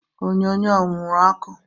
Onyonyo ọ wuru ọkụ?